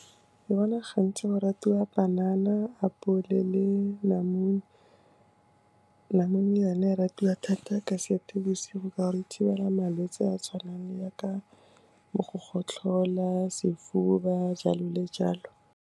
Ke bona gantsi go ratiwa panana, apole le namune. Lamune ona e ratiwa thata ka Seetebosigo, ka gore e thibela malwetse a tshwanang ya ka bo go gotlhola, sefuba, jalo le jalo.